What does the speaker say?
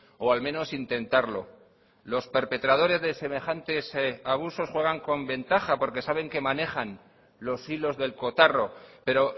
o al menos intentarlo los perpetradores de semejantes abusos juegan con ventaja porque saben que manejan los hilos del cotarro pero